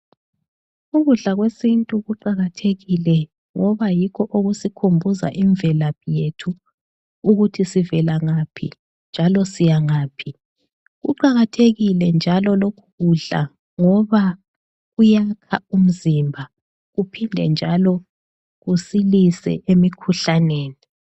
Ukudla kwesintu kuqakathekile ngoba yikho okusikhumbuza imvelaphi yethu ukuthi sivelangaphi njalo siyangaphi. Kuqakathekile njalo lokhu kudla ngoba kuyakha umzimba kuphinde kusilise emikhuhlaneni.